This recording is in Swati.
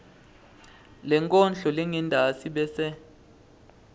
lenkondlo lengentasi bese